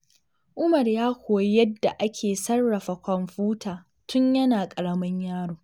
Umar ya koyi yadda ake sarrafa kwamfuta tun yana ƙaramin yaro.